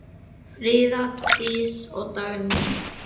Fríða Dís og Dagný.